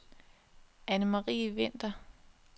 Annemarie Winther